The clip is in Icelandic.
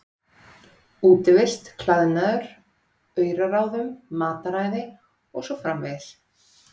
Útivist, klæðnaði, auraráðum, mataræði og svo framvegis.